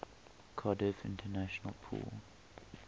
cardiff international pool